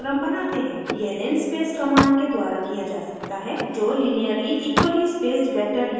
यह linspace linspace command के द्वारा किया जा सकता है जो linearly equally spaced vector यानी रैखिक एवं समान अन्तराल वाला वेक्टर बनाता है